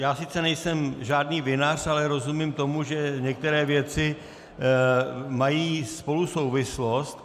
Já sice nejsem žádný vinař, ale rozumím tomu, že některé věci mají spolu souvislost.